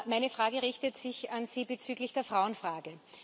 Meine Frage richtet sich an Sie bezüglich der Frauenfrage.